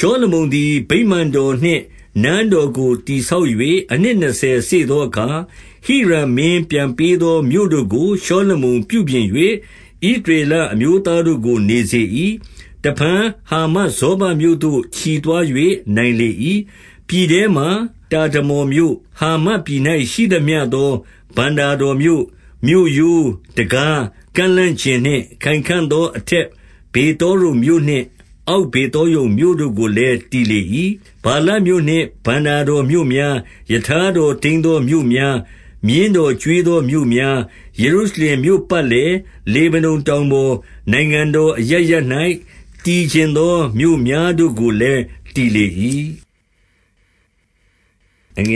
ရှောလမုန်သည် ဗိမာန်တော်နှင့် နန်းတော်ကို တည်ဆောက်၍ အနှစ်နှစ်ဆယ်စေ့သောအခါ၊ 2 ဟိရံမင်းပြန်ပေးသော မြို့တို့ကို ရှောလမုန် ပြုပြင်၍ ဣသရေလအမျိုးသားတို့ကို နေစေ၏။ 3 တဖန် ဟာမတ်ဇောဘမြို့သို့ ချီသွား၍ နိုင်လေ ၏။ 4 ပြည်ထဲမှာ တာဒမော်မြို့၊ ဟာမတ်ပြည်၌ ရှိသမျှသော ဘဏ္ဍာတော်မြို့၊ 5 မြို့ရိုး၊ တံခါး၊ ကန့်လန့်ကျင်နှင့်ခိုင်ခံ့သော အထက်ဗေသော ရုန်မြို့နှင့် အောက်ဗေသောရုန်မြို့တို့ကို လည်း တည်လေ၏။ 6 ဗာလတ်မြို့နှင့် ဘဏ္ဍာတော်မြို့များ၊ ရထား တော်ထိန်းသောမြို့များ၊ မြင်းတော်ကျွေးသောမြို့များ၊ ယေရုရှလင်မြို့ပတ်လည်၊ လေဗနုန်တောင်ပေါ်၊ နိုင်ငံတော်အရပ်ရပ်၌ တည်ချင်သောမြို့များတို့ကိုလည်း တည်လေ၏။ 7 ဣသ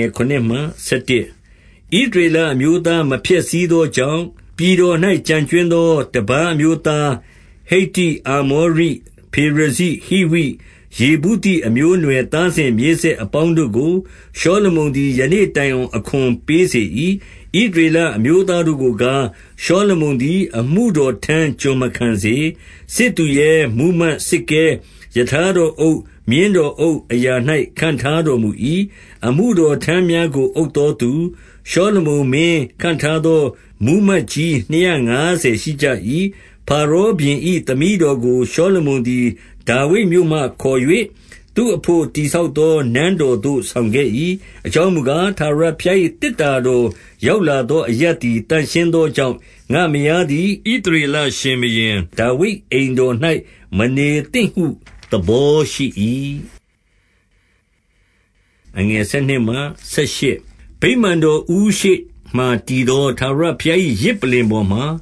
ရေလအမျိုးသားမဖျက်ဆီးသောကြောင့်၊ 8 ပြည်တော်၌ ကျန်ကြွင်းသော တပါးအမျိုးသား ဟိတ္တိ၊ အာမောရိ၊ ဖေရဇိ၊ ဟိဝိ၊ ယေဗုသိ အမျိုးအနွယ် သားစဉ် မြေးဆက်အပေါင်းတို့ကို ရှောလမုန်သည် ယနေ့တိုင် အောင် အခွန်ပေးစေ၏။ 9 ဣသရေလအမျိုးသားတို့ကိုကား၊ ရှောလမုန် သည် အမှုတော်ထမ်းကျွန်မခံစေ။ စစ်သူရဲ၊ မှူးမတ်၊ စစ်ကဲ၊ ရထားတော်အုပ်၊ မြင်းတော်အုပ်အရာ၌ ခန့်ထားတော် မူ၏။ 10 အမှုတော်ထမ်းများကို အုပ်သောသူ၊ ရှောလမုန် မင်း ခန့်ထားသော မှူးမတ်ကြီးနှစ်ရာငါးဆယ်ရှိကြ၏။ 11 ဖာရောဘုရင်၏ သမီးတော်ကို၊ ရှောလမုန် သည် ဒါဝိဒ်မြို့မှ ခေါ်၍ သူ့အဘို့ တည်ဆောက်သော နန်းတော်သို့ ဆောင်ခဲ့၏။ အကြောင်းမူကား၊ ထာဝရ ဘုရား၏ သေတ္တာတော်ရောက်လာသော အရပ်သည် သန့်ရှင်းသောကြောင့်၊ ငါ့မယားသည် ဣသရေလ ရှင်ဘုရင် ဒါဝိဒ်အိမ်တော်၌ မနေသင့်ဟု သဘောရှိ၏။ 12 ဗိမာန်တော် ဦးရှေ့မှာတည်သော ထာဝရ ဘုရား၏ ယဇ်ပလ္လင်ပေါ်မှာ၊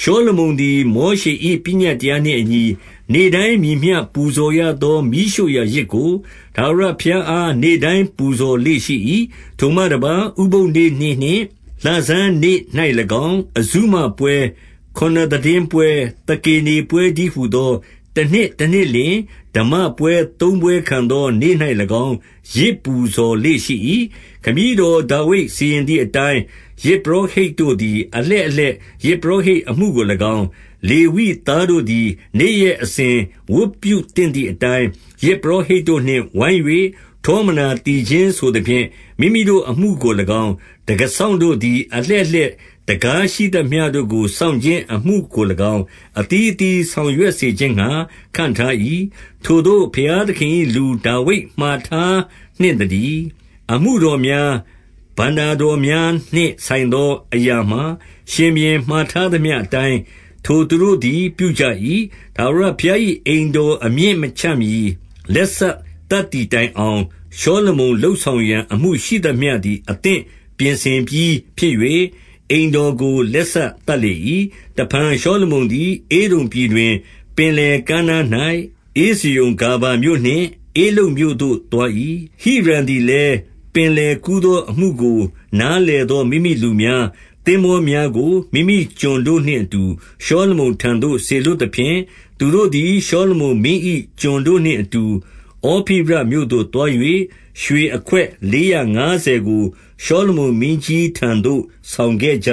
ရှောလမုန်သည် မောရှေ၏ ပညတ်တရားနှင့်အညီ၊ နေ့တိုင်းမည်မျှပူဇော်ရသော မီးရှို့ရာယဇ်ကို ထာဝရဘုရားအား နေ့တိုင်းပူဇော်လေ့ရှိ ၏။ 13 ထိုမှတပါး ဥပုသ်နေ့နှင့် လဆန်းနေ့၌၎င်း၊ အဇုမပွဲ၊ ခုနစ်သိတင်းပွဲ၊ သကေနေပွဲတည်းဟူသော တနှစ်တနှစ်လျှင် ဓမ္မပွဲသုံးပွဲခံသော နေ့၌၎င်း ယဇ်ပူဇော် လေ့ရှိ၏။ 14 ခမည်းတော် ဒါဝိဒ်စီရင်သည်အတိုင်း၊ ယဇ် ပုရောဟိတ်တို့သည် အလှည့်အလှည့် ယဇ်ပုရောဟိတ် အမှုကို၎င်း၊ လေဝိသားတို့သည် နေ့ရက် အစဉ်ဝတ်ပြု သင့်သည်အတိုင်း၊ ယဇ်ပုရောဟိတ်တို့နှင့် ဝိုင်း၍ ထော မနာသီချင်းဆိုသဖြင့်၊ မိမိတို့အမှုကို၎င်း၊ တံခါးစောင့် တို့သည် အလှည့်အလှည့် တံခါးရှိသမျှတို့ကို စောင့်ခြင်း အမှုကို၎င်း၊ အသီးသီးစောင်ရွက်စေခြင်းငှါ ခန့်ထား၏။ ထိုသို့ ဘုရားသခင်၏လူ ဒါဝိဒ်မှာထားနှင့်သတည်း။ 15 အမှုတော်များ၊ ဘဏ္ဍာတော်များနှင့်ဆိုင်သော အရာမှာ ရှင်ဘုရင် မှာထားသမျှအတိုင်း ထိုသူတို့သည် ပြုကြ၏။ 16 ထာဝရဘုရား၏ အိမ်တော်အမြစ်မချမှီ လက်စသတ်သည်တိုင်အောင်၊ ရှောလမုန်လုပ်ဆောင်ရန် အသင့်ပြင်ဆင်ပြီးဖြစ်၍၊ အိမ်တော်ကို လက်စသတ်လေ၏။ 17 တဖန်ရှောလမုန်သည် ဧဒုံပြည်တွင်၊ ပင်လယ် ကမ်းနား၌ ဧဇယုန်ဂါဗာမြို့နှင့် ဧလုတ်မြို့သို့သွား၏။ 18 ဟိရံသည်လည်း ပင်လယ်ကူသော အမှုကို နားလည်သော မိမိလူများ၊ သင်္ဘေားများကို မိမိကျွန်တို့ နှင့်အတူ ရှောလမုန်ထံသို့ စေလွှတ်သဖြင့်၊ သူတို့သည် ရှောလမုန်မင်း၏ ကျွန်တို့နှင့်အတူ ဩဖိရမြို့သို့သွား၍ ရွေအခွက်လေးရာ ငါးဆယ်ကို ရှောလမုနမင်းကြီးထံသို့ ဆောင်ခဲ့ကြ